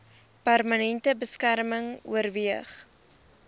permanente beskerming oorweeg